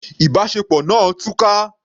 Ìbáṣepọ̀ náà túká.